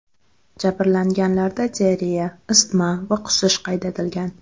Jabrlanganlarda diareya, isitma va qusish qayd etilgan.